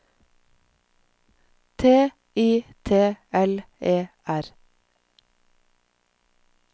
T I T L E R